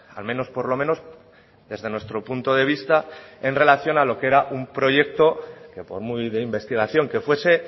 al menos por lo menos desde nuestro punto de vista en relación a lo que era un proyecto que por muy de investigación que fuese